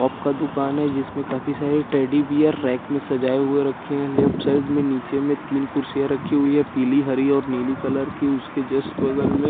pop का दुकान है जिसमे कल किसी ने टेडी बेयर रेक सजाये हुए रखे है लेफ्ट साइड में निचे में तीन कुड़सीया रखी हुई है पिली हरी और नीली कलर की उसके जस्ट बगल में --